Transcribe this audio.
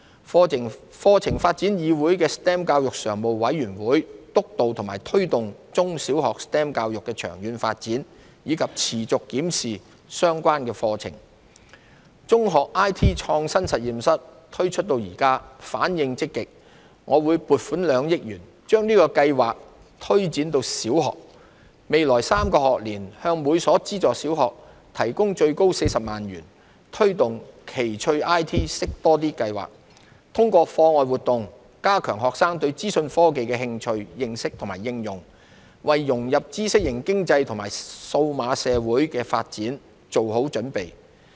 課程發展議會的 STEM 教育常務委員會督導及推動中小學 STEM 教育的長遠發展，以及持續檢視相關課程。"中學 IT 創新實驗室"推出至今，反應積極。我會撥款2億多元把計劃推展至小學，未來3個學年向每所資助小學提供最高40萬元，推動"奇趣 IT 識多啲"計劃，通過課外活動加強學生對資訊科技的興趣、認識及應用，為融入知識型經濟和數碼社會發展作好準備。